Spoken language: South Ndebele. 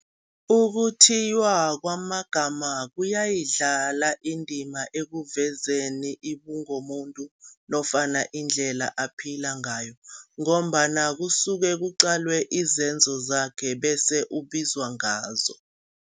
Ukuthiywa kwamagama kuyidlala indima ekuvezeni ubungomuntu nofana indlela aphila ngayo ngombana kusuke kuqalwe izenzo zakhe bese ubizwa ngazo.